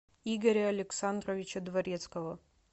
игоря александровича дворецкого